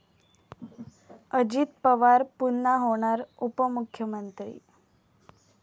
अजित पवार पुन्हा होणार उपमुख्यमंत्री?